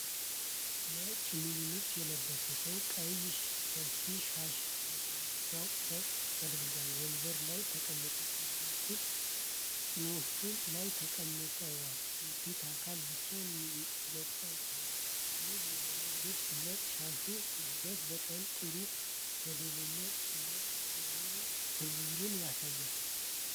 ነጭ ሙሉ ልብስ የለበሰ ሰው ቀይ ሰፊ ሻሽ ትከሻው ላይ አድርጎ ወንበር ላይ ተቀምጧል። እጆቹ ጭኖቹ ላይ ተቀምጠው የፊቱ አካል ብቻ መጥቷል። ውብ የሆነው የልብሱ እና ሻሹ ውህደት በጣም ጥሩ መደበኛ እና ክብርን ያሳያል።